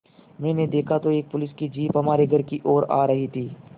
मैंने देखा तो एक पुलिस की जीप हमारे घर की ओर आ रही थी